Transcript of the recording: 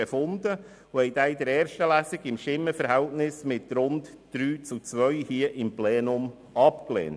Wir lehnten diesen mit einem Stimmenverhältnis von rund drei zu zwei im Plenum ab.